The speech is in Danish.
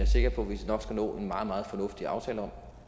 sikker på vi nok skal nå en meget meget fornuftig aftale om